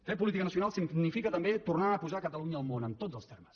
fer política nacional significa també tornar a posar catalunya al món en tots els termes